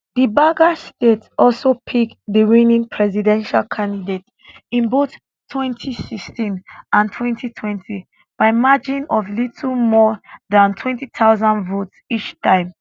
di badger state also pick di winning presidential candidate in both 2016 and 2020 by margin of little more dan 20000 votes each time